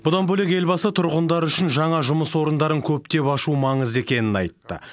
бұдан бөлек елбасы тұрғындар үшін жаңа жұмыс орындарын көптеп ашу маңызды екенін айтты